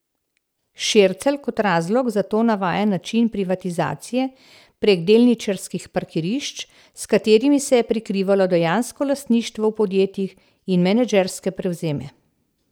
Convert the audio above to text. Šircelj kot razlog za to navaja način privatizacije prek delničarskih parkirišč, s katerimi se je prikrivalo dejansko lastništvo v podjetjih, in menedžerske prevzeme.